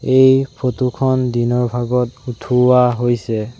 এই ফটো খন দিনৰ ভাগত উঠোৱা হৈছে।